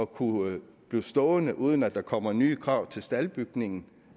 kunne blive stående uden at der kommer nye krav til staldbygningen